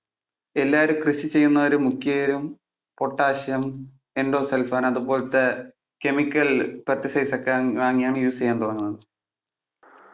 എല്ലാവരും കൃഷി ചെയ്യുന്നവര് മിക്കവരും potassium, endosulfan അതുപോലത്തെ chemical pesticides ഒക്കെ ആണ് വാങ്ങി ആണ് use ചെയ്യാൻ തുടങ്ങുന്നത്.